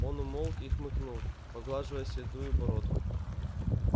он умолк и хмыкнул поглаживая седую бородку